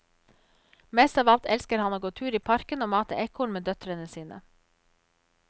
Mest av alt elsker han å gå tur i parken og mate ekorn med døtrene sine.